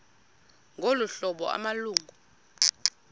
ngolu hlobo amalungu